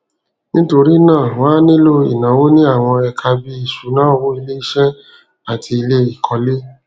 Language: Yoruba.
nítorí náà wọn á nílò ìnáwó ní àwọn ẹka bíi ìṣúnná owó iléiṣẹ àti iléìkólé